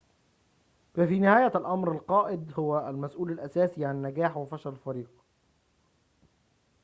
ففي نهاية الأمر القائد هو المسؤول الأساسي عن نجاح وفشل الفريق